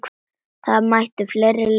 Það mættu fleiri leika eftir.